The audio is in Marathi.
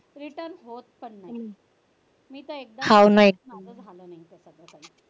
return होत नाही मी तर एकदा